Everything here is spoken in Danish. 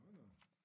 Nå nå